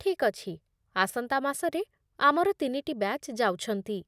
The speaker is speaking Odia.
ଠିକ୍ ଅଛି। ଆସନ୍ତା ମାସରେ ଆମର ତିନିଟି ବ୍ୟାଚ୍ ଯାଉଛନ୍ତି।